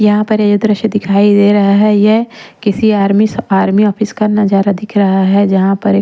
यहाँ पर ये दृश्य दिखाई दे रहा है यह किसी आर्मी आर्मी ऑफिस का नजारा दिख रहा है जहां पर--